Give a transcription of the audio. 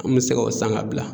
An mi se ka o san ka bila.